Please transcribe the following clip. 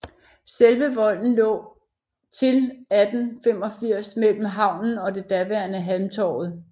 Selve volden lå til 1885 mellem havnen og det daværende Halmtorvet